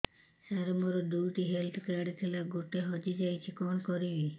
ସାର ମୋର ଦୁଇ ଟି ହେଲ୍ଥ କାର୍ଡ ଥିଲା ଗୋଟେ ହଜିଯାଇଛି କଣ କରିବି